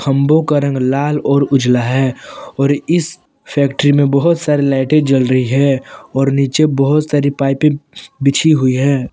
खम्बो का रंग लाल और उजाला है और इस फैक्ट्री में बहुत सारे लाइटें जल रही है और नीचे बहुत सारी पाइपें बिछी हुई है।